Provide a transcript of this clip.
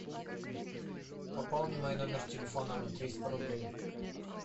пополни мой номер телефона на триста рублей